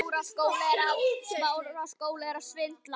Ég heiti Thomas Lang.